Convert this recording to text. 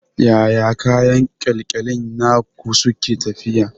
Yaya kayan ƙyalƙyalin naku suke tafiya?